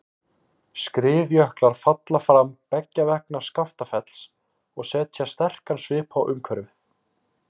Skriðjöklar falla fram beggja vegna Skaftafells og setja sterkan svip á umhverfið.